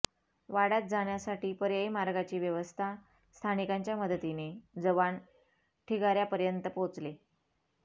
वाड्यात जाण्यासाठी पर्यायी मार्गाची व्यवस्था स्थानिकांच्या मदतीने जवान ठिगाऱ्यापर्यंत पोहचले